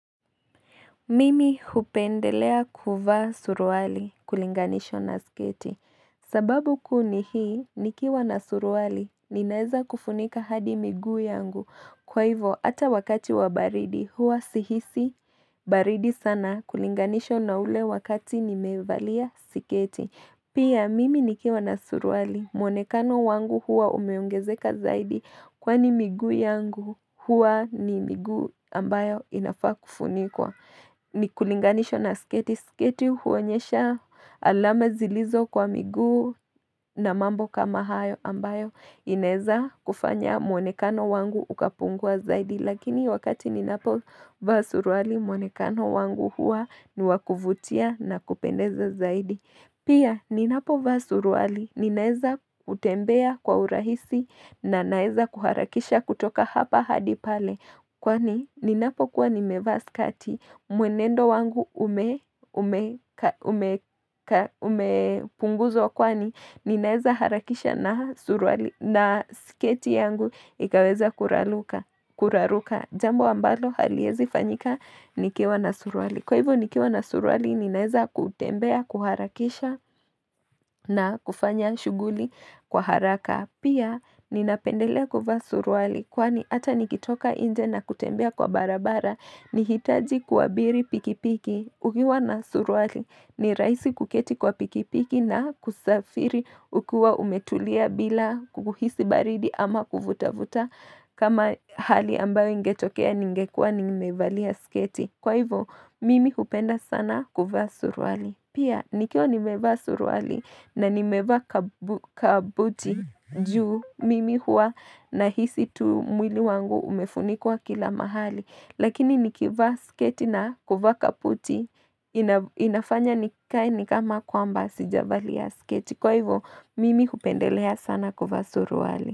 Mimi hupendelea kuvaa suruali kulinganishwa na sketi. Sababu kuu ni hii, nikiwa na suruali, ninaeza kufunika hadi miguu yangu. Kwa hivo, ata wakati wa baridi, huwa sihisi baridi sana kulinganishwa na ule wakati nimevalia siketi. Pia, mimi nikiwa na suruali, mwonekano wangu huwa umeongezeka zaidi kwani miguu yangu huwa ni miguu ambayo inafaa kufunikwa. Nikulinganishwa na sketi. Sketi huonyesha alama zilizo kwa miguu na mambo kama hayo ambayo. Inaeza kufanya mwonekano wangu ukapungua zaidi. Lakini wakati ninapo vaa suruali mwonekano wangu huwa ni wa kuvutia na kupendeza zaidi. Pia ninapo vaa suruali, ninaeza kutembea kwa urahisi na ninaeza kuharakisha kutoka hapa hadi pale. Kwani ninapokuwa nimevaa skati, mwenendo wangu umepunguzwa kwani, ninaeza harakisha na sketi yangu, ikaweza kuraruka. Kuraruka jambo ambalo haliezi fanyika nikiwa na surwali. Kwa hivyo nikiwa na surwali ninaeza kutembea, kuharakisha na kufanya shughuli kwa haraka. Pia ninapendelea kuvaa suruali kwani ata nikitoka nje na kutembea kwa barabara. Nihitaji kuwabiri pikipiki ukiwa na suruali ni rahisi kuketi kwa pikipiki na kusafiri ukiwa umetulia bila kuhisi baridi ama kuvuta-vuta kama hali ambayo ingetokea ningekua nimevalia sketi. Kwa hivo mimi hupenda sana kuvaa suruali. Pia nikiwa nimevaa suruali na nimevaa kabuti juu mimi huwa nahisi tu mwili wangu umefunikwa kila mahali. Lakini nikivaa sketi na kuvaka kabuti inafanya nikae ni kama kwamba sijavalia sketi Kwa hivyo mimi hupendelea sana kuvaa surualu.